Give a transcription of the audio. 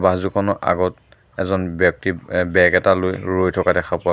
bus দুখনৰ আগত এজন ব্যক্তি বেগ এটা লৈ ৰৈ থকা দেখা পোৱা--